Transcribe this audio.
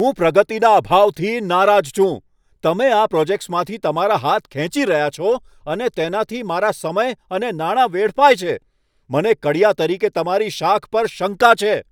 હું પ્રગતિના અભાવથી નારાજ છું. તમે આ પ્રોજેક્ટ્સમાંથી તમારા હાથ ખેંચી રહ્યાં છો અને તેનાથી મારા સમય અને નાણાં વેડફાય છે, મને કડિયા તરીકે તમારી શાખ પર શંકા છે.